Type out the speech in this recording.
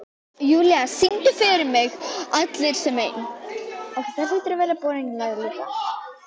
Júlla, syngdu fyrir mig „Allir sem einn“.